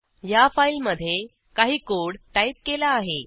या फाईलमधे काही कोड टाईप केला आहे